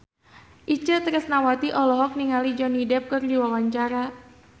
Itje Tresnawati olohok ningali Johnny Depp keur diwawancara